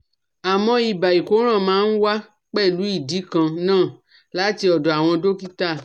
Àmọ́ ibà ìkóràn máa ń wá pẹ̀lú ìdí kan náà láti ọ̀dọ̀ àwọn dọ́kítà